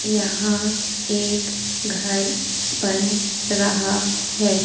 यहां एक घर बन रहा है।